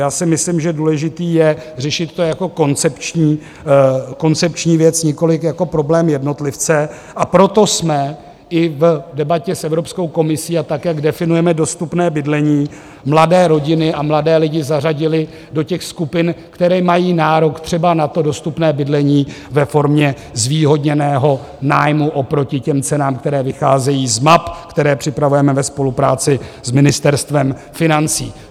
Já si myslím, že důležité je řešit to jako koncepční věc, nikoliv jako problém jednotlivce, a proto jsme i v debatě s Evropskou komisí a tak, jak definujeme dostupné bydlení, mladé rodiny a mladé lidi zařadili do těch skupin, které mají nárok třeba na to dostupné bydlení ve formě zvýhodněného nájmu oproti těm cenám, které vycházejí z map, které připravujeme ve spolupráci s Ministerstvem financí.